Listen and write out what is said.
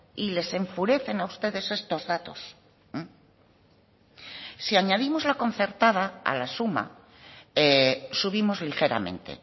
y les enfurecen a ustedes estos datos si añadimos la concertada a la suma subimos ligeramente